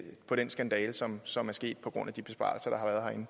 på den skandale som som er sket på grund af de besparelser